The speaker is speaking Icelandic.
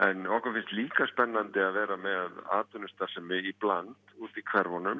en okkur finnst líka spennandi að vera með atvinnustarfsemi í bland út í hverfunum